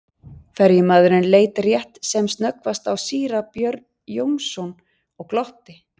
Ferjumaðurinn leit rétt sem snöggvast á síra Björn Jónsson og glotti.